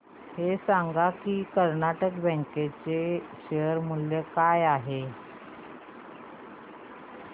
हे सांगा की कर्नाटक बँक चे शेअर मूल्य काय आहे